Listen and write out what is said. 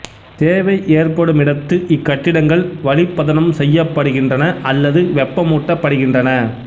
தேவை ஏற்படுமிடத்து இக் கட்டிடங்கள் வளிப் பதனம் செய்யப்படுகின்றன அல்லது வெப்பமூட்டப் படுகின்றன